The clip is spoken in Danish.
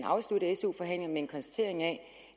en konstatering af